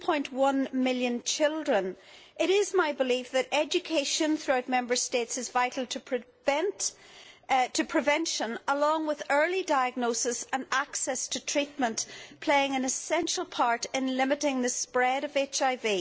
2.1 million children, it is my belief that education throughout Member States is vital for prevention, which, alongside early diagnosis and access to treatment, can play an essential part in limiting the spread of HIV.